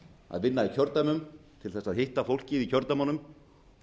að vinna í kjördæmum til þess að hitta fólkið í kjördæmunum